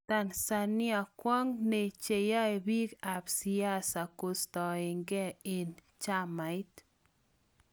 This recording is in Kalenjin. Tanzania:kwang ne chanyae pik ap siasa kustagen en chamait.